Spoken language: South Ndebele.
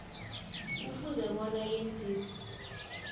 kufuze bona yenziwe